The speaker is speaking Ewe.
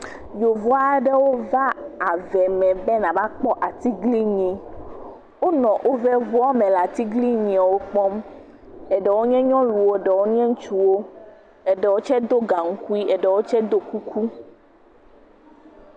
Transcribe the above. Yevu aɖewo va ave me be nava kpɔ atiglinyi, wonɔ woƒe ŋua me le atiglinyiawo kpɔm. Eɖewo nye nyɔnuwo, ɖewo nye ŋutsuwo, eɖewo tsɛ do gaŋkui eɖewo tsɛ do kuku.